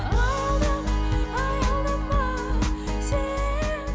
аялдама аялдама сен